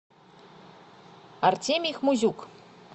артемий хмузюк